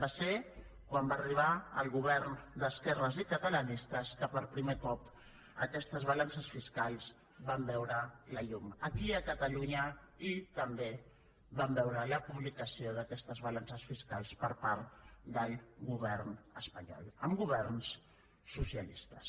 va ser quan va arribar el govern d’esquerres i catalanista que per primer cop aquestes balances fiscals van veure la llum aquí a catalunya i també vam veure la publicació d’aquestes balances fiscals per part del govern espanyol amb governs socialistes